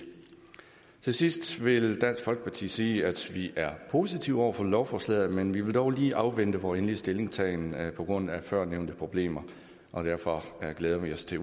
til sidst vil dansk folkeparti sige at vi er positive over for lovforslaget men vi vil dog lige afvente vor endelige stillingtagen på grund af førnævnte problemer og derfor glæder vi os til